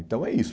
Então, é isso.